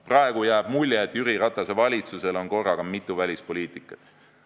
Praegu jääb mulje, et Jüri Ratase valitsusel on korraga mitu välispoliitikat.